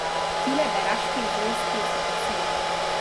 Tile beraški zrezki so od sile!